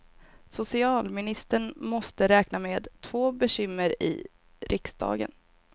Socialministern måste räkna med två bekymmer i riksdagen.